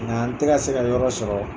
Nka n tɛ ka se ka yɔrɔ sɔrɔ.